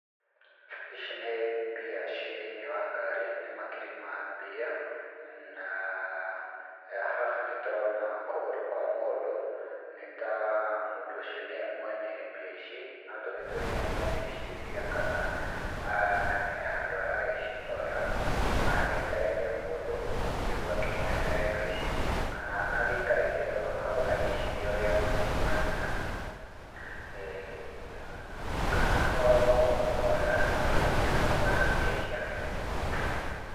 Ici nĩ mbia ciĩ thĩiniĩ wa ngari. Nĩ makiri ma mbia naa, haha nĩtũrona kũgũrũ kwa mũndũ, nĩ taa mũndũ ũcio nĩye mwene mbia ici, no tũgĩtue nĩye mwene ici mbia kanaa he handũ aragĩcitwara, kana agĩetereire mũndũ, nĩguo akĩmũnengere mbia ici, kana agĩikarĩte o hau agĩciria ũrĩa agũgĩcibangĩra kana noo kũhorera akĩhoreire hau na mbia ciake.